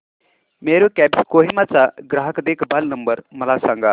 Meru cabs Kohima चा ग्राहक देखभाल नंबर मला सांगा